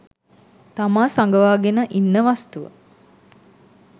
තමා සඟවාගෙන ඉන්න වස්තුව